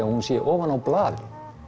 að hún sé ofan á blaði